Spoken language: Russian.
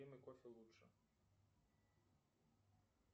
кофе лучше